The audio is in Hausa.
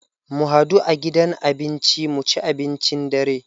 Mu hadu a gidan abinci mu ci abincin dare.